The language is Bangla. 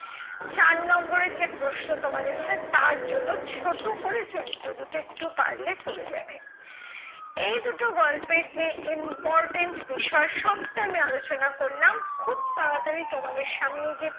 চার নম্বরের যে প্রশ্ন তোমাদের হয়, তার জন্য ছোট করে চরিত্র দুটো একটু পারলে পরে যাবে। এই দুটো গল্পের যে important বিষয় সবটা আমি আলোচনা করলাম। খুব তাড়াতড়ি তোমাদের সামনে যে